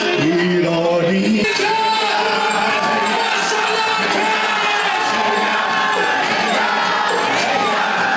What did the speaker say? Kəş, kəş, kəş, kəş, kəş, kəş, kəş, kəş!